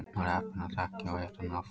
Var heppinn að þekkja og hitta hann oft.